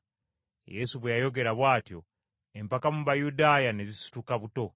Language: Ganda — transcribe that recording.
Yesu bwe yayogera bw’atyo, empaka mu Bayudaaya, ne zisituka buto.